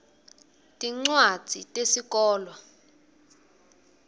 tincwadzi tesikolwa